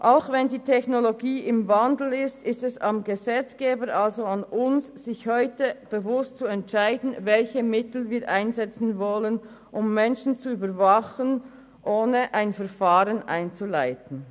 Auch wenn die Technologie im Wandel ist, ist es am Gesetzgeber – also an uns –, sich bewusst zu entscheiden, welche Mittel wir einsetzen wollen, um Menschen zu überwachen, ohne ein Verfahren einzuleiten.